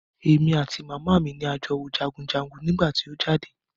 Èmi àti màmá mi ni a jọ wo jagunjagun nígbà tí o jáde.